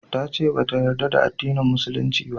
Ta ce ba ta yarda da addinin musulunci ba